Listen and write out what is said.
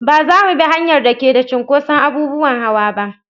Ba za mu bi hanyar da ke da cinkoson abubuwan hawa ba.